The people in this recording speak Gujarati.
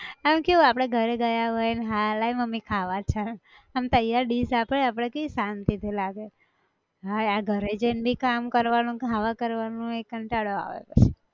આમ કેવું આપણે ઘરે ગયા હોય ન હા લાય મમ્મી ખાવા છ, અમ તૈયાર dish આપે આપણે કેવી શાંતિ થી લાગે, હા આ ઘરે જઈ ન બી કામ કરવાનું ખાવા કરવાનું એ કંટાળો આવે પછી